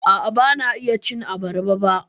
A'a, ban iya cin abarba ba.